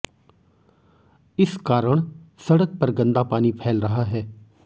इस कारण सड़क पर गंदा पानी फैल रहा है